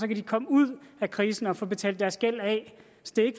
de komme ud af krisen og få betalt deres gæld af